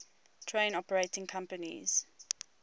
train operating companies